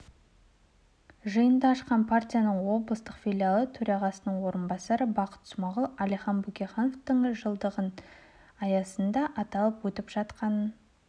жиынды ашқан партияның облыстық филиалы төрағасының орынбасары бақыт смағұл әлихан бөкейхановтың жылдығының аясында аталып өтіп жатқанын